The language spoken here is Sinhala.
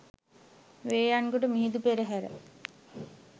වේයයන්ගොඩ මිහිඳු පෙරහැර